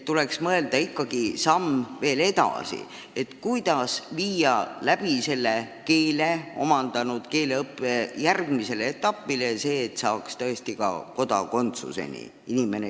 Tuleks ikkagi mõelda veel samm edasi, kuidas viia keele omandanud inimene järgmisesse etappi, et ta jõuaks tõesti kodakondsuse saamiseni.